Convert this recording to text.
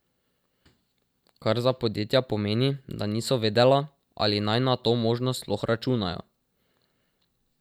Kar za podjetja pomeni, da niso vedela, ali naj na to možnost sploh računajo.